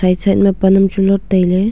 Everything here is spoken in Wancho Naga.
e side ma pan am chu lot tailey.